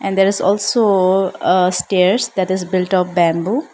And there is also ah stairs that is build of bamboo.